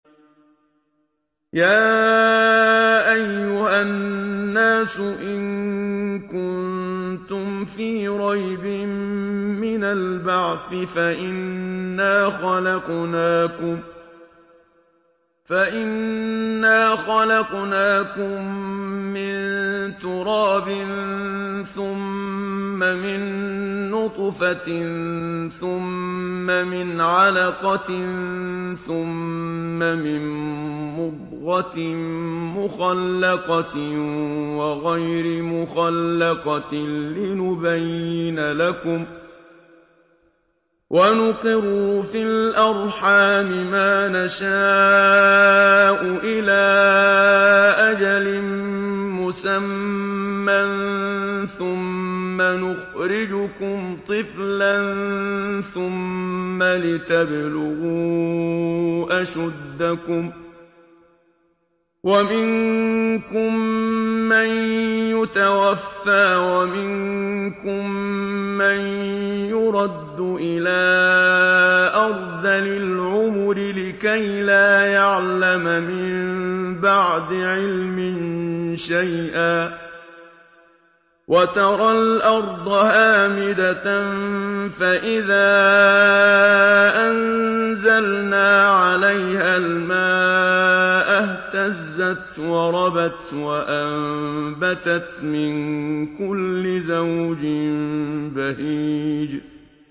يَا أَيُّهَا النَّاسُ إِن كُنتُمْ فِي رَيْبٍ مِّنَ الْبَعْثِ فَإِنَّا خَلَقْنَاكُم مِّن تُرَابٍ ثُمَّ مِن نُّطْفَةٍ ثُمَّ مِنْ عَلَقَةٍ ثُمَّ مِن مُّضْغَةٍ مُّخَلَّقَةٍ وَغَيْرِ مُخَلَّقَةٍ لِّنُبَيِّنَ لَكُمْ ۚ وَنُقِرُّ فِي الْأَرْحَامِ مَا نَشَاءُ إِلَىٰ أَجَلٍ مُّسَمًّى ثُمَّ نُخْرِجُكُمْ طِفْلًا ثُمَّ لِتَبْلُغُوا أَشُدَّكُمْ ۖ وَمِنكُم مَّن يُتَوَفَّىٰ وَمِنكُم مَّن يُرَدُّ إِلَىٰ أَرْذَلِ الْعُمُرِ لِكَيْلَا يَعْلَمَ مِن بَعْدِ عِلْمٍ شَيْئًا ۚ وَتَرَى الْأَرْضَ هَامِدَةً فَإِذَا أَنزَلْنَا عَلَيْهَا الْمَاءَ اهْتَزَّتْ وَرَبَتْ وَأَنبَتَتْ مِن كُلِّ زَوْجٍ بَهِيجٍ